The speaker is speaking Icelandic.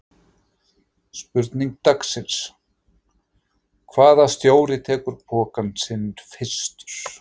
Spurning dagsins: Hvaða stjóri tekur pokann sinn fyrstur?